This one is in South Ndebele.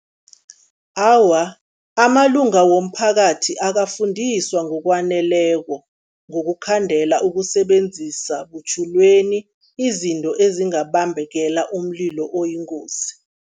Awa, amalunga womphakathi akafundiswa ngokwaneleko ngokukhandela ukusebenzisa butjhilweni izinto ezingabambekela umlilo oyingozi.